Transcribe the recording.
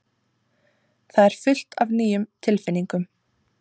Það er fullt af nýjum tilfinningum.